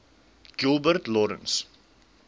gilbert lawrence